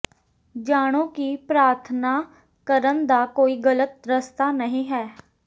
ਜਾਣੋ ਕਿ ਪ੍ਰਾਰਥਨਾ ਕਰਨ ਦਾ ਕੋਈ ਗ਼ਲਤ ਰਸਤਾ ਨਹੀਂ ਹੈ